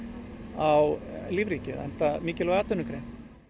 á lífríkið enda mikilvæg atvinnugrein